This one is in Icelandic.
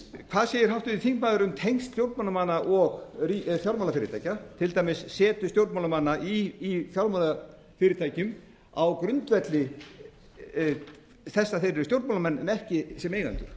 hvað segir háttvirtur þingmaður um tengsl stjórnmálamanna og fjármálafyrirtækja til dæmis setu stjórnmálamanna í fjármálafyrirtækjum á grundvelli þess að að þeir eru stjórnmálamenn en ekki sem eigendur